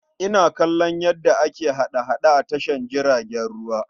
Ina kallon yadda ake hada-hada a tashar jiragen ruwa.